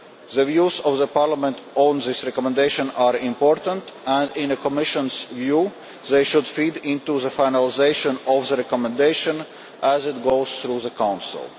The views of Parliament on this recommendation are important and, in the Commission's view, they should feed into the finalisation of the recommendation as it goes through the Council.